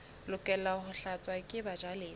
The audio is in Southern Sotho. lokela ho tlatswa ke bajalefa